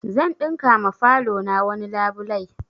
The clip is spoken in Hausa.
Zan ɗinka ma falo na wani labulai